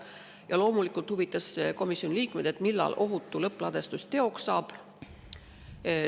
Ja loomulikult huvitas komisjoni liikmeid, millal ohutu lõppladustus teoks saab.